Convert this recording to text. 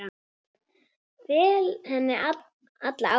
Fel henni alla ábyrgð.